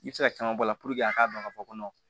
I bɛ se ka caman bɔ a la a k'a dɔn k'a fɔ ko